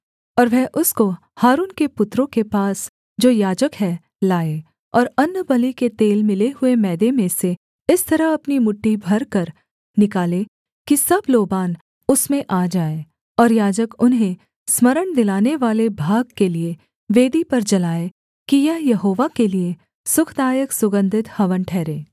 और वह उसको हारून के पुत्रों के पास जो याजक हैं लाए और अन्नबलि के तेल मिले हुए मैदे में से इस तरह अपनी मुट्ठी भरकर निकाले कि सब लोबान उसमें आ जाए और याजक उन्हें स्मरण दिलानेवाले भाग के लिये वेदी पर जलाए कि यह यहोवा के लिये सुखदायक सुगन्धित हवन ठहरे